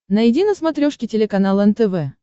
найди на смотрешке телеканал нтв